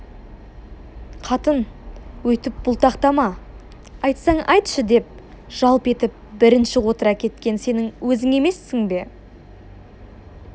қатын өйтіп бұлтақтама айтсаң айтшы деп жалп етіп бірінші отыра кеткен сенің өзің емессің бе